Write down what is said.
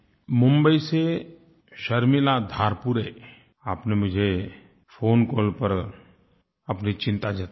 मुम्बई से शर्मिला धारपुरे आपने मुझे फ़ोन कॉल पर अपनी चिंता जतायी है